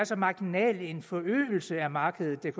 så marginal forøgelse af markedet der